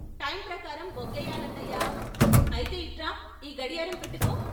''Time ప్రకారం బొగ్గెయ్యాలండయ్యా" అయితే ఇట్రా ఈ గడియారం పెట్టుకో.